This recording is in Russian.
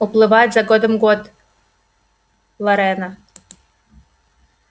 уплывает за годом год лорена